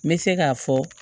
N bɛ se k'a fɔ